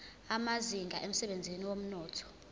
amazinga emsebenzini wezomnotho